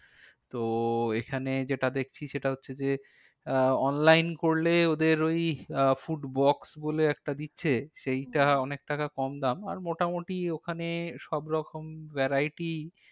তো এখানে যেটা দেখছি সেটা হচ্ছে যে আহ onine করলে ওদের ওই আহ food box বলে একটা দিচ্ছে। সেইটা অনেক টাকা কম দাম। আর মোটামুটি ওখানে সব রকম variety